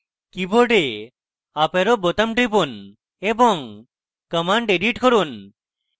key board up arrow বোতাম টিপুন এবং command edit করুন